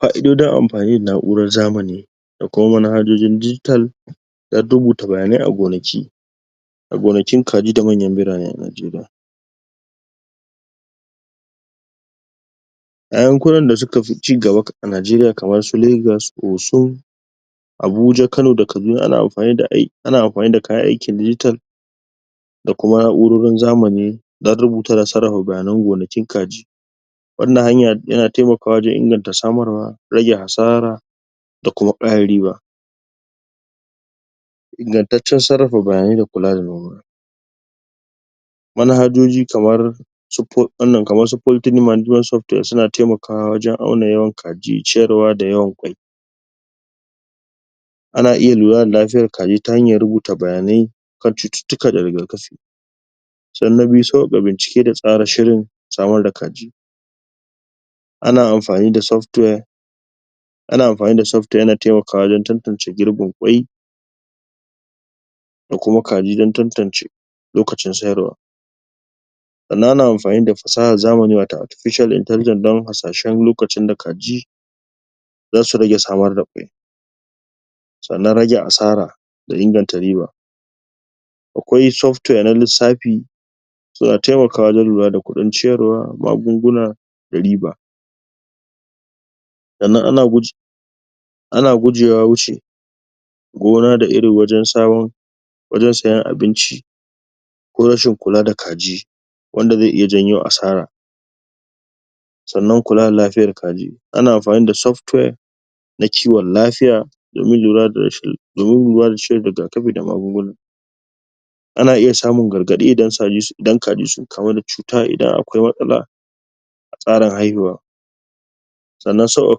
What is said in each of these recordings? Fa'idojin amfani da na'urar zamani da kuma manhajojin? don rubuta bayanai a gonaki a gonakin kaji d manyan birane a Najeriya a yankunan d suka fi cigabaa Najeriya kamar su Legas, Osun, Abuja Kano da Kaduna an amfani da ana amfani da kayan aikin digital da kuma na'urorin zamani don rubuta da sarrafa bayanan gonakin kaji wannan hanya yana taimakawa wajen inganta samarwa rage asara da kuma ƙara riba ingantaccen sarrafa bayanai da kula da noma manhajoji kamar wannan kamar su poultry management software suna taimakawa wajen auna yawan kaji, ciyarwa da yawan ƙwai ana iya lura da lafiyar kaji ta hanyan rubuta bayanai kan cututtuka da rigakafi sannan na biyu sauƙaƙa bincike da tsara shirin samar da kaji ana amfani da software ana amfani da software yana taimakawa wajen tantane girbin waiƙ da kuma kaji don tantace lokacin sayarwa sannan ana amfani da fasahar zamani watau artificial intelligence don hasashen lokacin da kaji zasu rage samar da ƙwai sannan rage asara da inganta riba akwai software na lissafi suna taimakawa wajen lura da kuɗin ciyarwa, magunguna da riba sannan ana ana gujewa wuce gona da iri wajen samar wajen sayan abinci ko rashin kula da kaji wanda zai iya janyo asara sannan kula da lafiyar kaji ana amfani da software na kiwon lafiya domin lura da rashin domin lura da shan rigakafi da magunguna ana iya samun gargaɗi idan kaji sun kamu da cuta idan akwai matsala tsarin haihuwa sannan sauƙaƙa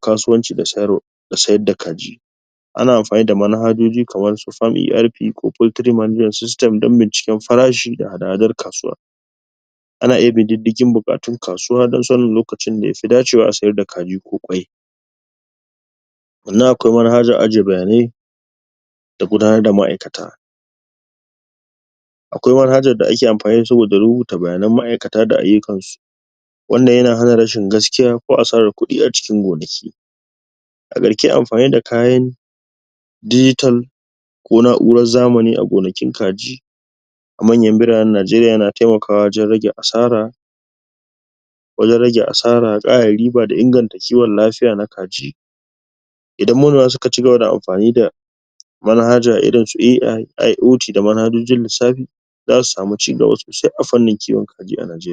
kasuwanci da sayarwa da sayar da kaji ana amfani da manhajoji kamar su Farm ERP ko Poultry management system don binciken farashi da hada-hadar kasuwa ana iya bin diddigin buƙarun kasuwa don sanin lokacin da fi dacewa a sayar da kaji ko ƙwai sannan akwai manhajan ajiye bayanai da gudanar da ma'aikata akwai manhajar da ake amfani da su saboda rubuta bayanan ma'aikata da ayyukansu wannan yana hana rashin gaskiya ko asarar kuɗi a cikin gonaki a ƙarshe amfani da kayan digita ko na'urar zamani a gonakin kaji a manyan biranen Najeriya yana taimakawa wajen rage asara wajen rage asaran riba da inganta kiwon lafiya na kaji idan manoma suka cigaba da amfani da manhaja irin su A.I, IOT da manhajojin lissafi zasu samu cigaba sosai a fanin kiwon kaji a Najeriya.